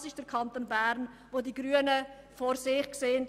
das ist der Kanton Bern, den die Grünen vor sich sehen.